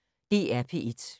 DR P1